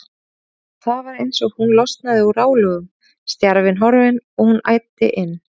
Og það var eins og hún losnaði úr álögum, stjarfinn horfinn, og hún æddi inn.